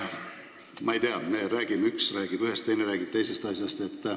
Ma ei tea, üks räägib ühest ja teine räägib teisest asjast.